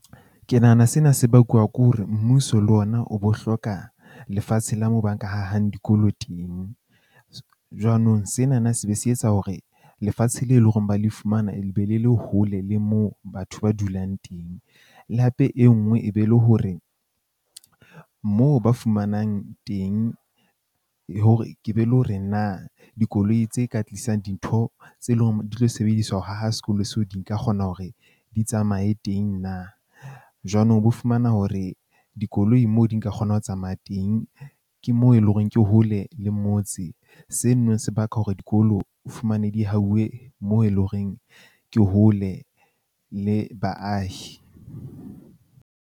Ke nahana sena se bakuwa ke hore, mmuso le ona o bo hloka lefatshe la moo ba ka hahang dikolo teng. Jwanong sena na se be se etsa hore lefatshe leo e leng hore ba le fumana, be le le hole le moo batho ba dulang teng. Le hape e nngwe e be le hore moo ba fumanang teng hore ke be le hore na dikoloi tse ka tlisang dintho tse leng di tlo sebediswa ho haha sekolo seo di nka kgona hore di tsamaye teng na. Jwanong, o bo fumana hore dikoloi moo di nka kgona ho tsamaya teng. Ke moo eleng hore ke hole le motse. Seno se baka hore dikolo o fumane di hauwe moo eleng horeng ke hole le baahi.